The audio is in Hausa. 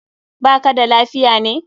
Ba ka da lafiya ne?